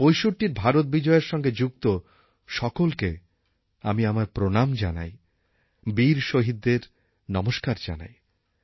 ৬৫র ভারত বিজয়ের সঙ্গে যুক্ত সকলকে আমি আমার প্রণাম জানাই বীর শহীদদের নমস্কার জানাই